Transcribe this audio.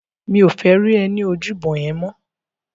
Mi ó fè ri è ni ójúbò yèn mò